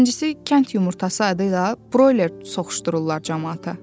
İkincisi, kənd yumurtası adı ilə broiler soxuşdururlar camaata.